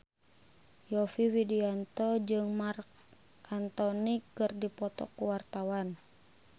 Yovie Widianto jeung Marc Anthony keur dipoto ku wartawan